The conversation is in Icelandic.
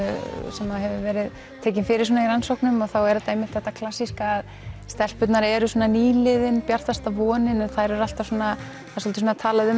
sem hefur verið tekin fyrir í rannsóknum og þá er þetta einmitt þetta klassíska að stelpurnar eru svona nýliðinn bjartasta vonin en þær eru alltaf svona það er talað um